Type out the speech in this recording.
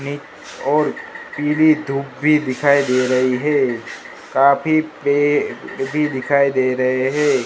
और पीली धूप भी दिखाई दे रही है काफी पेड़ भी दिखाई दे रहे है।